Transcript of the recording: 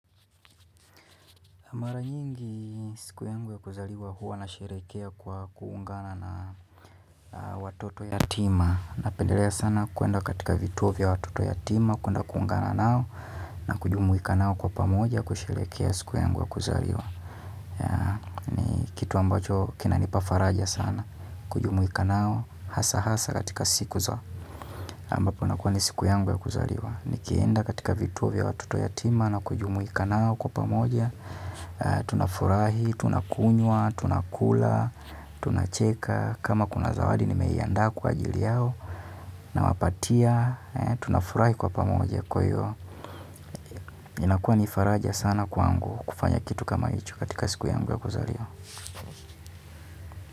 Mara nyingi siku yangu ya kuzaliwa huwa nasherehekea kwa kuungana na watoto yatima. Napendelea sana kuenda katika vituo vya watoto yatima, kuenda kuungana nao na kujumuika nao kwa pamoja kusherehekea siku yangu ya kuzaliwa. Kitu ambacho kinanipa faraja sana, kujumuika nao hasa hasa katika siku zo. Ambapo inakuwa ni siku yangu ya kuzaliwa. Nikienda katika vituo vya watoto yatima na kujumuika nao kwa pamoja tunafurahi, tunakunywa, tunakula, tunacheka. Kama kuna zawadi nimeiandaa kwa ajili yao nawapatia. Tunafurahi kwa pamoja kwa hiyo. Inakuwa ni faraja sana kwangu kufanya kitu kama hicho katika siku yangu ya kuzaliwa.